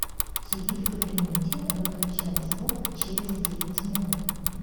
тиви в кабинете выключай звук через девять минут